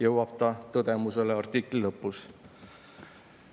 " Sellise tõdemuseni jõuab ta artikli lõpus.